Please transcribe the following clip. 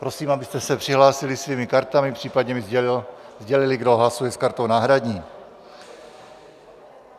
Prosím, abyste se přihlásili svými kartami, případně mi sdělili, kdo hlasuje s kartou náhradní.